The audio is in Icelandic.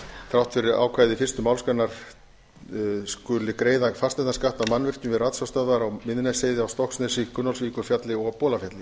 þrátt fyrir ákvæði fyrstu málsgrein skuli greiða fasteignaskatt af mannvirkjum við ratsjárstöðvar á miðnesheiði á stokksnesi gunnólfsvíkurfjalli og bolafjalli